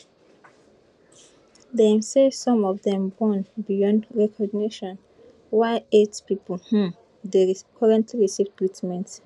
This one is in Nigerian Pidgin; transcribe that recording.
dem say some of dem burn beyond recognition while eight pipo um dey currently receive treatment